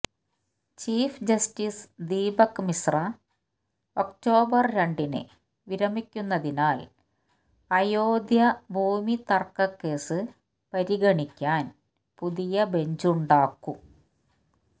chief justice Deepak Misra October രണ്ടിനു വിരമിക്കുന്നതിനാൽ അയോധ്യ ഭൂമിതർക്കക്കേസ് പരിഗണിക്കാൻ പുതിയ ബെഞ്ചുണ്ടാക്കും